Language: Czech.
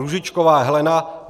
Růžičková Helena